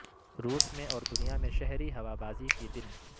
روس میں اور دنیا میں شہری ہوا بازی کے دن